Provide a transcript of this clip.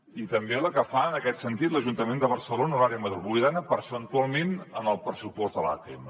i també la que fa en aquest sentit l’ajuntament de barcelona a l’àrea metropolitana percentualment en el pressupost de l’atm